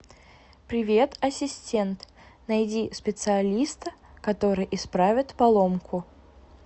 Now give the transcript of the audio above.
привет ассистент найди специалиста который исправит поломку